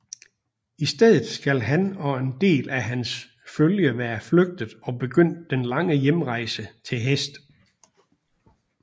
I stedet skal han og en del af hans følge være flygtet og begyndt den lange hjemrejse til hest